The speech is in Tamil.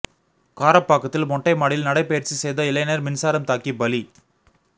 காரப்பாக்கத்தில் மொட்டை மாடியில் நடைப்பயிற்சி செய்த இளைஞர் மின்சாரம் தாக்கி பலி